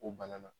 O bana na